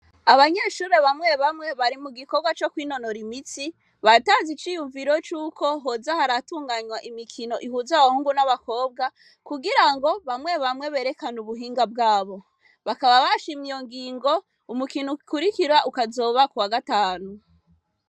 Abanyeshure bamwe bamwe bari mugikorwa co kwinonora imitsi batanze iciyumviro cuko hoza haratunganywa imikino ihuza abahungu n'abakobwa kugirango bamwe bamwe berekane ubuhinga bwabo, bakaba bashimye iyo ngingo umukino ukurikira ukaba uzoba kuwa gatanu.